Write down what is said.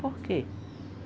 Por quê?